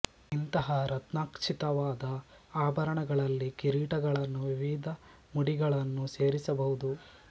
ಇಂತಹ ರತ್ನ ಖ್ಚಿತವಾದ ಆಭರಣಗಳಲ್ಲಿ ಕಿರೀಟಗಳನ್ನೂ ವಿವಿಧ ಮುಡಿಗಳನ್ನೂ ಸೇರಿಸಬಹುದು